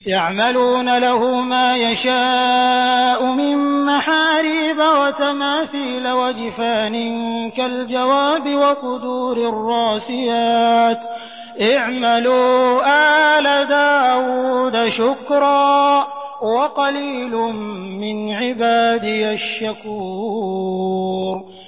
يَعْمَلُونَ لَهُ مَا يَشَاءُ مِن مَّحَارِيبَ وَتَمَاثِيلَ وَجِفَانٍ كَالْجَوَابِ وَقُدُورٍ رَّاسِيَاتٍ ۚ اعْمَلُوا آلَ دَاوُودَ شُكْرًا ۚ وَقَلِيلٌ مِّنْ عِبَادِيَ الشَّكُورُ